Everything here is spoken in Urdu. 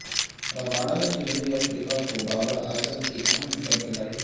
رباڈا نے جنوبی افریقہ کو بابر اعظم کی اہم وکٹ دلائی